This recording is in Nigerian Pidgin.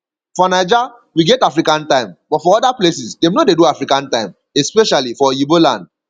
for naija we get african time but for oda places dem no dey do african time especially for oyiba land